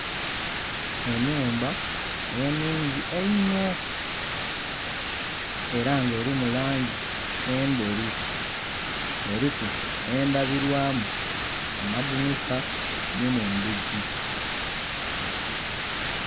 Enhumba enhungi einho era nga erimu langi endheru eriku nhe ndhabilwamu mu madhinisa nhi mundhigii.